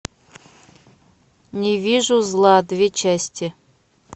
не вижу зла две части